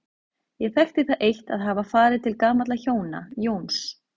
Ég þekkti það eitt að hafa farið til gamalla hjóna, Jóns